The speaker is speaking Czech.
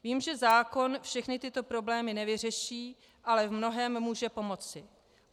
Vím, že zákon všechny tyto problémy nevyřeší, ale v mnohém může pomoci.